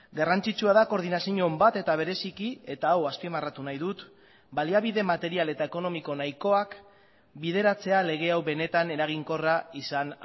garrantzitsua da koordinazio on bat eta bereziki eta hau azpimarratu nahi dut baliabide material eta ekonomiko nahikoak bideratzea lege hau benetan eraginkorra izan